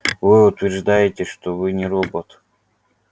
вы утверждаете что вы не робот